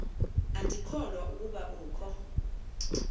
andikholwa ukuba ukho